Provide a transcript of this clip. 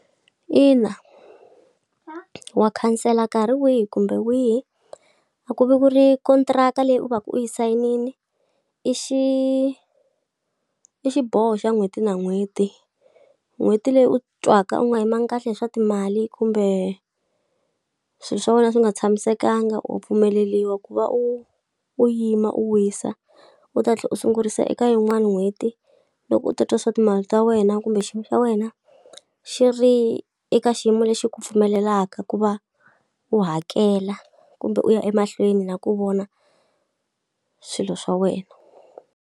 Ina wa khansela nkarhi wihi kumbe wihi, a ku va ku ri kontraka leyi u va ka u yi sayinile, i xi i xiboho xa n'hweti na n'hweti. N'hweti leyi u titwaka u nga yimanga kahle hi swa timali kumbe swilo swa wena swi nga tshamisekanga u pfumeleriwa ku va u u yima u wisa, u ta tlhela u sungurisa eka yin'wani n'hweti loko u tatwa swa timali ta wena kumbe xiyimo xa wena ina xi ri eka xiyimo lexi ku pfumelelaka ku va u hakela kumbe u ya emahlweni na ku vona swilo swa wena.